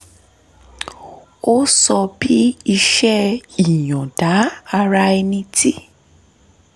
ó sọ bí iṣẹ́ ìyọ̀ǹda ara ẹni tí